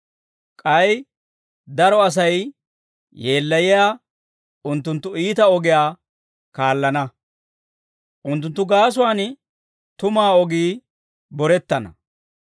K'ay daro Asay yeellayiyaa unttunttu iita ogiyaa kaallana; unttunttu gaasuwaan tumuwaa ogii borettana.